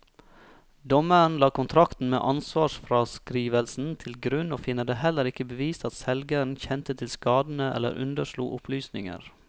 Dommeren la kontrakten med ansvarsfraskrivelsen til grunn og finner det heller ikke bevist at selgeren kjente til skadene eller underslo opplysninger.